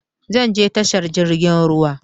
Zan je tashar jirgin ruwa